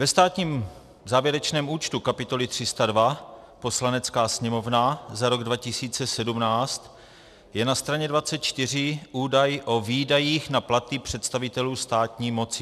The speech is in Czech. Ve státním závěrečném účtu, kapitoly 302 Poslanecká sněmovna za rok 2017 je na straně 24 údaj o výdajích na platy představitelů státní moci.